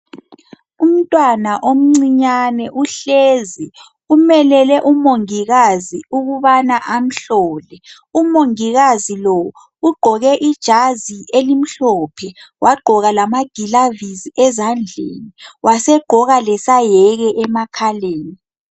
Umntwana omncinyane uhlezi. Umelele umongikazi ukubana amhlole. Umongikazi lo ugqoke ijazi elimhlophe, wagqoka lamagilavisi ezandleni wasegqoka lesayeke emakhaleni.